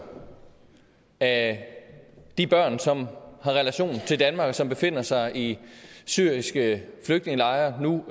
af de børn som har relation til danmark og som befinder sig i syriske flygtningelejre nu